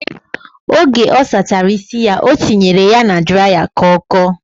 Oge ọ sachara isi ya, o tinyere ya na draịya ka ọ kọọ.